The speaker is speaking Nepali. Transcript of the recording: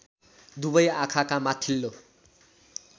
दुबै आँखाका माथिल्लो